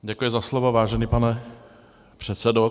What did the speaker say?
Děkuji za slovo, vážený pane předsedo.